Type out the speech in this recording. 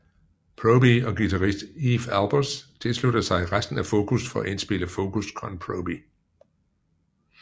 Proby og guitarist Eef Albers tilsluttede sig resten af Focus for at indspille Focus con Proby